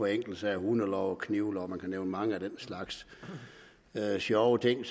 af enkeltsager hundeloven knivloven og man kan nævne mange af den slags sjove ting